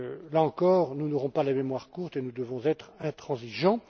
Là encore, nous n'aurons pas la mémoire courte et nous devrons être intransigeants.